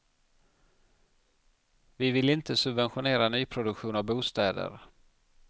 Vi vill inte subventionera nyproduktion av bostäder.